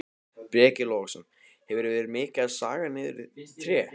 Breki Logason: Hefurðu verið mikið að saga niður tré?